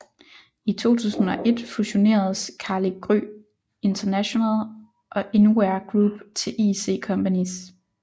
I 2001 fusioneredes Carli Gry International og InWear Group til IC Companys